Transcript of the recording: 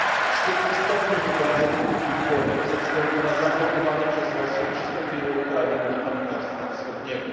Szczyt istotnie był bardzo krótki i chłodny ze względu na zablokowanie przez Rosję przystąpienia Ukrainy do Partnerstwa Wschodniego.